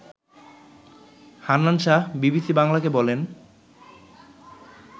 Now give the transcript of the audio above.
Hannan Shah BBC বাংলাকে বলেন